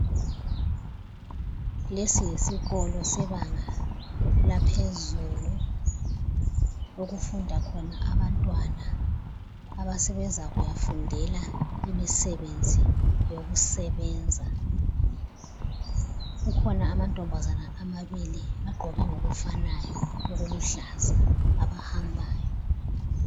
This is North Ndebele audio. Lesi yisikolo sebanga laphezulu okufunda khona abantwana abasebezakuyafundela imisebenzi yokusebenza. Kukhona amantombazane amabili agqoke ngokufanayo okuluhlaza abahambayo.